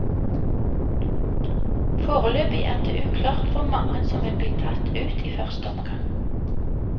Foreløpig er det uklart hvor mange som vil bli tatt ut i første omgang.